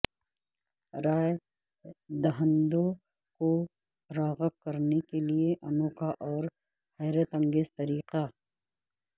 رائے دہندوں کو راغب کرنے کیلئے انوکھا اور حیرت انگیز طریقہ